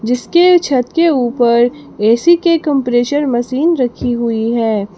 इसके छत के ऊपर ए_सी के कंप्रेसर मशीन रखी हुई है।